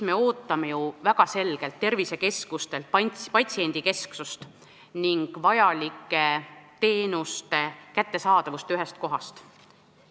Me ootame tervisekeskustelt väga selgelt patsiendikeskesust ning kõikide teenuste kättesaadavust ühest kohast.